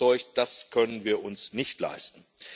Ich bin überzeugt, das können wir uns nicht leisten.